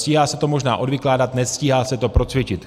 Stíhá se to možná odvykládat, nestíhá se to procvičit.